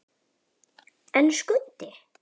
En Skundi!